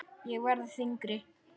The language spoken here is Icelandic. Ég verð þyngri.